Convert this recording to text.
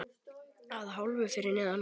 Að hálfu fyrir neðan gras.